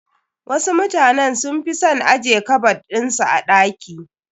Wasu mutanen sun fi son ajje kabad ɗin su a ɗaki.